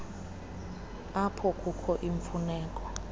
apho kukho imfuneko